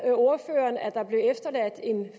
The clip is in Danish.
ordføreren at der blev efterladt en